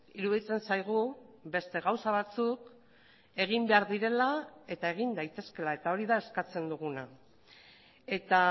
iruditzen zaigu beste gauza batzuk egin behar direla eta egin daitezkeela eta hori da eskatzen duguna eta